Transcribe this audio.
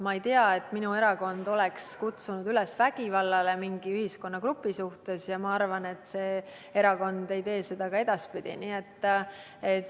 Ma ei tea, et minu erakond oleks kutsunud üles vägivallale mingi ühiskonnagrupi suhtes, ja ma arvan, see erakond ei tee seda ka edaspidi.